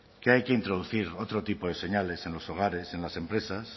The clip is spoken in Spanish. que hay que introducir otro tipo de señales en los hogares en las empresas